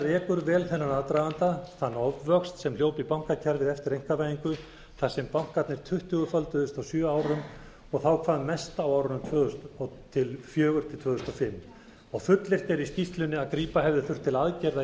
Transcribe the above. rekur vel þennan aðdraganda þann ofvöxt sem hljóp í bankakerfið eftir einkavæðingu þar sem bankarnir tuttugu földuðust á sjö árum og þá hvað mest á árinu tvö þúsund og fjögur til tvö þúsund og fimm og fullyrt er í skýrslunni að grípa hefði þurft til aðgerða í